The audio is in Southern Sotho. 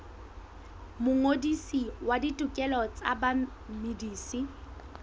mongodisi wa ditokelo tsa bamedisi